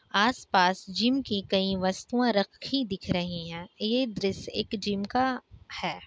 आस-पास जिम की कई वस्तुएं रखी दिख रही है। यह दृश्य एक जिम का है।